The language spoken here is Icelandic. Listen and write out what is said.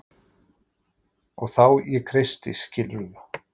Og þá ég kreisti skilurðu?